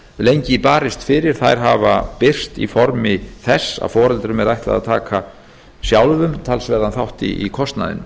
lengi barist fyrir hafa birst í formi þess að foreldrum er ætlað að taka sjálfum talsverðan þátt í kostnaðinum